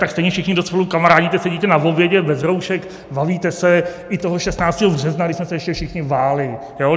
Tak stejně všichni, kdo spolu kamarádíte, sedíte na obědě bez roušek, bavíte se, i toho 16. března, kdy jsme se ještě všichni báli.